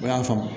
O y'a faamu